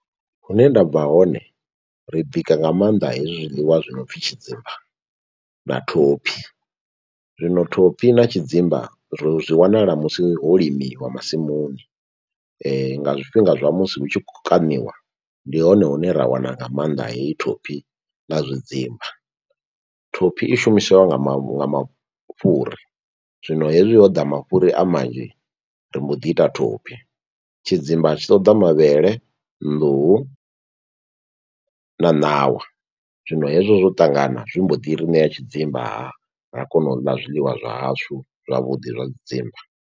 Hune ndabva hone ri bika nga maanḓa hezwi zwiḽiwa zwi no pfi tshidzimba na thophi. Zwino thophi na tshidzimba ri zwi wanala musi ho limiwa masimuni nga zwifhinga zwa musi hu tshi khou kaṋiwa ndi hone hune ra wana nga maanḓa heyi thophi na zwidzimba. Thophi i shumisiwa nga mafhuri zwino hezwi ho ḓa mafhuri a manzhi ri mbo ḓi ita thophi. Tshidzimba tshi ṱoḓa mavhele, nḓuhu na ṋawa zwino hezwo zwo ṱangana zwi mbo ḓiri ṋeya tshidzimba ra kona u ḽa zwiḽiwa zwa hashu zwavhuḓi zwa tshidzimba.